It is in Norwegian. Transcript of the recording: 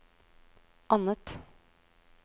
annet